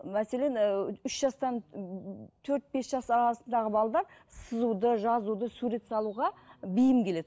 мәселен ііі үш жастан төрт бес жас арасындағы сызуды жазуды сурет салуға бейім келеді